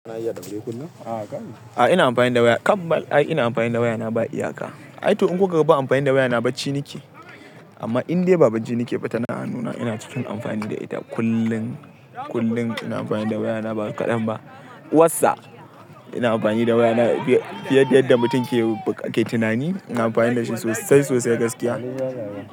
A ina amfani da waya kam bal, ai ina amfani da waya na ba iyaka. Ai to in kuka ga ban amfani da waya na bacci nike. Amma indai ba bacci nike ba tana hannu na ina cikin amfani da ita kullun-kullun ina amfani da waya na ba kaɗan ba. WhatsApp ina amfani da waya na fiye da yadda mutum ke. Tunani, ina amfani da shi sosai sosai gaskiya.